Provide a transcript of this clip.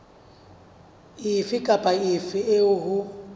efe kapa efe eo ho